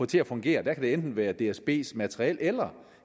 til at fungere der kan det enten være dsbs materiel eller